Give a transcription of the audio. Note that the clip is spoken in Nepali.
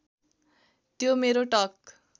त्यो मेरो टक